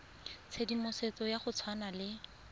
tshedimosetso ya go tshwana le